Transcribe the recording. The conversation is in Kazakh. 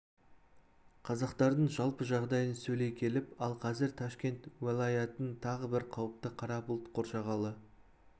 қазақтардың жалпы жағдайын сөйлей келіп ал қазір ташкент уәлаятын тағы бір қауіпті қара бұлт қоршағалы